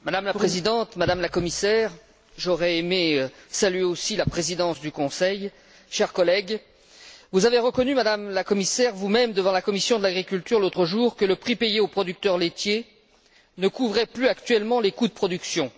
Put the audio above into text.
Madame la Présidente, Madame la Commissaire j'aurais aimé saluer aussi la Présidence du Conseil chers collègues, vous avez reconnu vous même, Madame la Commissaire, devant la commission de l'agriculture, l'autre jour, que le prix payé aux producteurs laitiers ne couvrait plus actuellement les coûts de production.